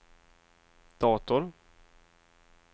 dator